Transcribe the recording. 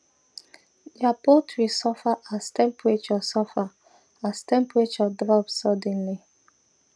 their poultry suffer as temperature suffer as temperature drop suddenly